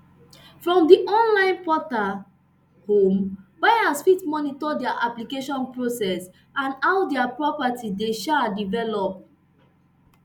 from di online protal home buyers fit monitor dia application progress and how dia property dey um develop